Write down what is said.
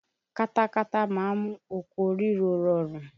Katakata má ń mú oko ríro rọrùn.